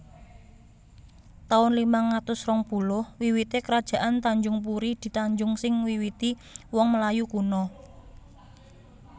taun limang atus rong puluh WiwitéKerajaan Tanjungpuri di Tanjung sing miwiti wong Melayu kuno